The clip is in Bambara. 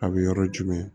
A bɛ yɔrɔ jumɛn